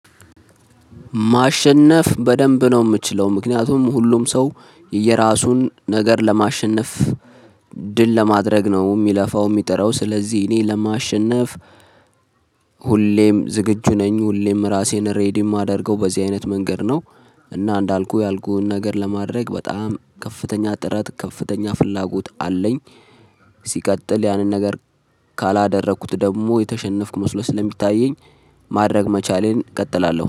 ማሸነፍ በደንብ ነው የምችለው ምክንያቱም ሁሉም ሰው የየራሱን ነገር ለማሸነፍ ድል ለማድረግ ነው የሚለፋው የሚጥረው ስለዚህ እኔ ለማሸነፍ ዝግጁ ነኝ ሁሌም ራሴን ሬዲ የማደርገው በዚህ አይነት መንገድ ነው። እና እንዳልኩህ ያልኩህን ነገር ለማድረግ በጣም ከፍተኛ ጥረት ከፍተኛ ፍላጎት አለኝ። ሲቀጥል ያንን ነገር ካላደረኩት ደግሞ የተሸነፍኩ መስሎ ስለሚታየኝ ማድረግ መቻሌን እቀጥላለው